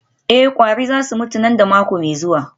Eh kwari za su mutu nan da mako mai zuwa